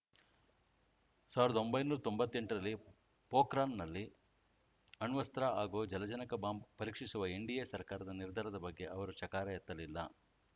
ಸಾವಿರದೊಂಬೈನೂರ ತೊಂಬತ್ತೆಂಟರಲ್ಲಿ ಪೋಖ್ರಾನ್‌ನಲ್ಲಿ ಅಣ್ವಸ್ತ್ರ ಹಾಗೂ ಜಲಜನಕ ಬಾಂಬ್‌ ಪರೀಕ್ಷಿಸುವ ಎನ್‌ಡಿಎ ಸರ್ಕಾರದ ನಿರ್ಧಾರದ ಬಗ್ಗೆ ಅವರು ಚಕಾರ ಎತ್ತಲಿಲ್ಲ